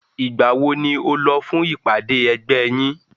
Ìgbà wo ni o lọ fún ìpàdé ẹgbẹ́ yín?